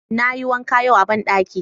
Na yi wanka yau a banɗaki